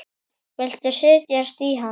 Viltu setjast í hann?